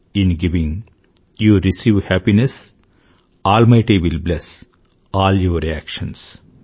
in giving you receive happiness almighty will bless all your actions